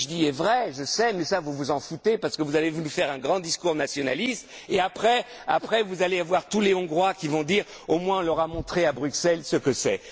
tête tout ce que je dis est vrai, je le sais mais ça vous vous en foutez parce que vous avez voulu nous faire un grand discours nationaliste et après, vous allez avoir tous les Hongrois qui vont dire Au moins, on leur a montré à Bruxelles ce que